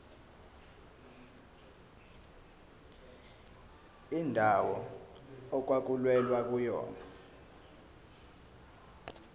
indawo okwakulwelwa kuyona